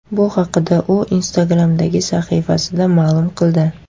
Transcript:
Bu haqda u Instagram’dagi sahifasida ma’lum qildi.